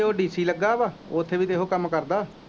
ਅਤੇ ਉਹ DC ਲੱਗਾ ਵਾ, ਉੱਥੇ ਵੀ ਉਹੋ ਕੰਮ ਕਰਦਾ।